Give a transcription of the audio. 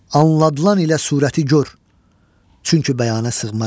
Anladılan ilə surəti gör, çünki bəyanə sığmaram.